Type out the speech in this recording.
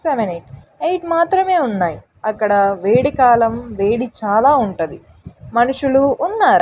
Seven eight eight మాత్రమే ఉన్నాయి అక్కడ వేడి కాలం వేడి చాలా ఉంటది మనుషులు ఉన్నారు.